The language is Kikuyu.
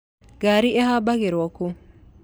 Ngaari ihambagĩrwo kũ?